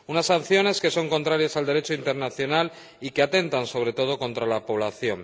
Unas sanciones que son contrarias al Derecho internacional y que atentan, sobre todo, contra la población.